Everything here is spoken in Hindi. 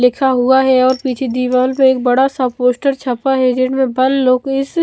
लिखा हुआ है और पीछे दीवाल पे एक बड़ा सा पोस्टर छपा है जिनमे बल लोकेस--